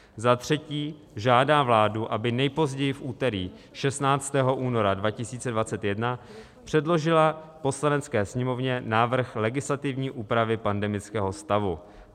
Za třetí žádá vládu, aby nejpozději v úterý 16. února 2021, předložila Poslanecké sněmovně návrh legislativní úpravy pandemického stavu.